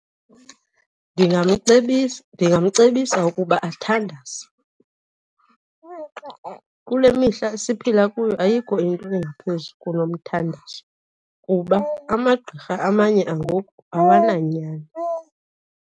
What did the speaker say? Ndingamcebisa ukuba athandaze. Kule mihla siphila kuyo ayikho into engaphezu kunomthandazo, kuba amagqirha amanye angoku awananyani.